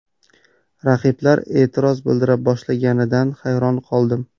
Raqiblar e’tiroz bildira boshlashganida hayron qoldim.